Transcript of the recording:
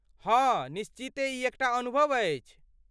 हँ, निश्चिते ई एकटा अनुभव अछि।